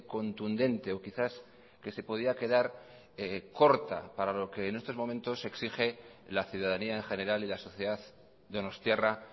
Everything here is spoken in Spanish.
contundente o quizás que se podía quedar corta para lo que en estos momentos exige la ciudadanía en general y la sociedad donostiarra